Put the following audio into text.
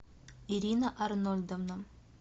ирина арнольдовна